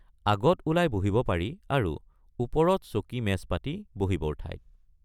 আগত ওলাই বহিব পাৰি আৰু ওপৰত চকীমেজ পাতি বহিবৰ ঠাই।